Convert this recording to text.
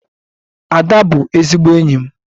Ada bụ ezigbo enyi m.